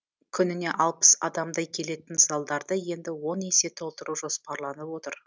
күніне алпыс адамдай келетін залдарды енді он есе толтыру жоспарланып отыр